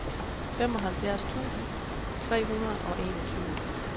femoghalvfems tusind tre hundrede og enogtyve